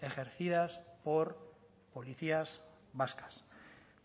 ejercidas por policías vascas